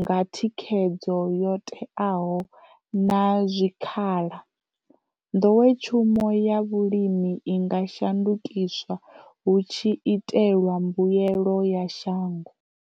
nga thi khedzo yo teaho na zwikha la, nḓowetshumo ya vhulimi i nga shandukiswa hu tshi itelwa mbuyelo ya shango.